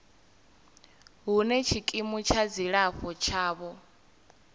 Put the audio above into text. hune tshikimu tsha dzilafho tshavho